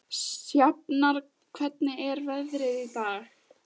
Sjafnar, hvernig er veðrið í dag?